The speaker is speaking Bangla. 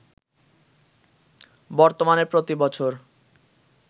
বর্তমানে প্রতি বছর